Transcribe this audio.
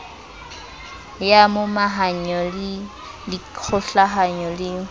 ya momahanyo ya dikgokahanyo le